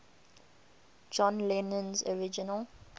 john lennon's original